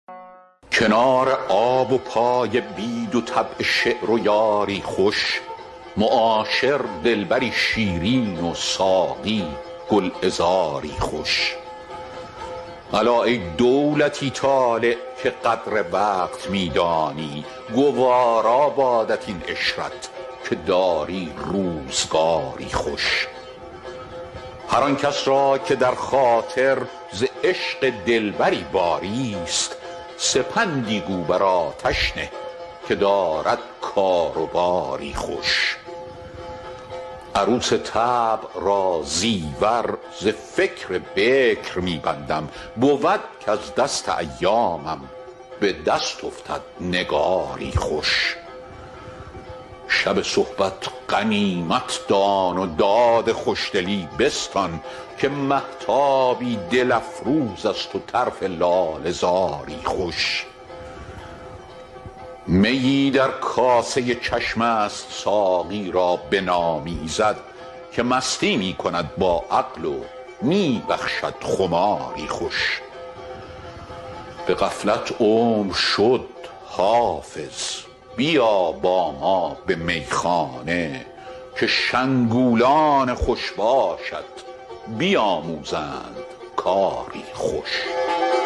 کنار آب و پای بید و طبع شعر و یاری خوش معاشر دلبری شیرین و ساقی گلعذاری خوش الا ای دولتی طالع که قدر وقت می دانی گوارا بادت این عشرت که داری روزگاری خوش هر آن کس را که در خاطر ز عشق دلبری باریست سپندی گو بر آتش نه که دارد کار و باری خوش عروس طبع را زیور ز فکر بکر می بندم بود کز دست ایامم به دست افتد نگاری خوش شب صحبت غنیمت دان و داد خوشدلی بستان که مهتابی دل افروز است و طرف لاله زاری خوش میی در کاسه چشم است ساقی را بنامیزد که مستی می کند با عقل و می بخشد خماری خوش به غفلت عمر شد حافظ بیا با ما به میخانه که شنگولان خوش باشت بیاموزند کاری خوش